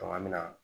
an bɛ na